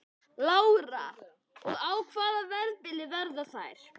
Lára: Og á hvaða verðbili verða þær?